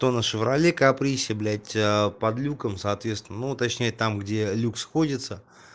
то на шевроле каприсе блять под люком соответственно ну точнее там где люк сходится